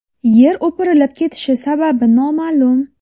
Yer o‘pirilib ketishi sababi noma’lum.